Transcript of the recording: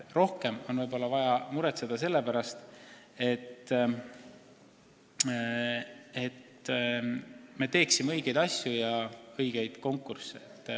Rohkem tuleks muretseda selle pärast, kas me ikka teeme õigeid asju, korraldame õigeid konkursse.